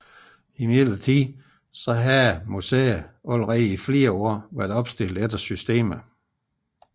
Imidlertid havde da allerede i flere år museet været opstillet efter systemet